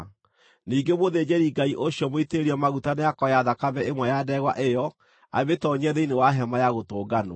Ningĩ mũthĩnjĩri-Ngai ũcio mũitĩrĩrie maguta nĩakoya thakame ĩmwe ya ndegwa ĩyo amĩtoonyie thĩinĩ wa Hema-ya-Gũtũnganwo.